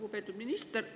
Lugupeetud minister!